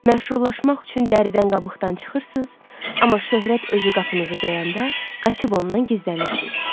Məşhurlaşmaq üçün dəridən-qabıqdan çıxırsız, amma şöhrət özü qapınızı döyəndə qaçıb ondan gizlənirsiz.